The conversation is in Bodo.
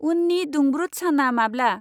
उन्नि दुंब्रुद साना माब्ला?